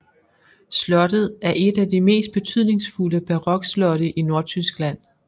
Slottet er et af de mest betydningsfulde barokslotte I Nordtyskland